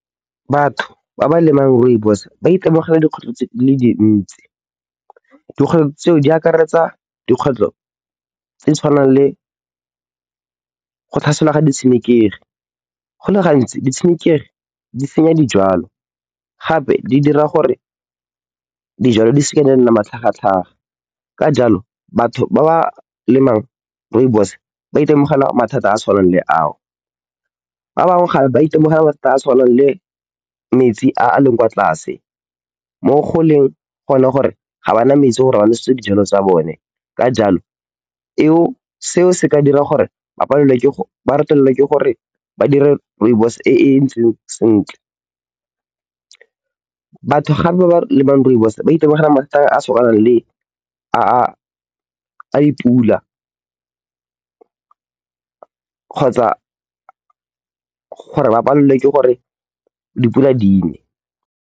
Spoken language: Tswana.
Batho ba ba lemang rooibos ba itemogela dikgwetlho di le dintsi. Dikgwetlho tseo di akaretsa dikgwetlho tse di tshwanang le go tlhaselwa ga ditshenekegi. Go le gantsi ditshenekegi di senya dijalo gape di dira gore dijalo di seka tsa nna matlhagatlhaga. Ka jalo, batho ba ba lemang rooibos ba itemogela mathata a a tshwanang le ao. Ba bangwe gape ba itemogela mathata a a tshwanang le metsi a a leng kwa tlase mo go leng gone gore ga ba na maetsi gore ba nosetse dijwalo tsa bone. Ka jalo, seo se ka dira gore ba retelelwe ke gore ba dire rooibos e e ntseng sentle. Batho gape ba ba lemang rooibos ba itemogela mathata a a tshwanang le a dipula kgotsa gore ba palelwe ke gore dipula di ne.